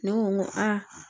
Ne ko n ko aa